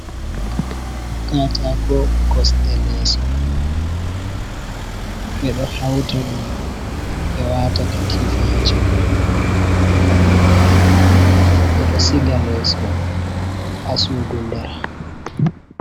Katako kosɗe lesso, ɓe ɗo hauta ɗum ɓe wata katifa ha chaka ngam ɓe wala, ɓe ɗo siga lesso ha sudu nder.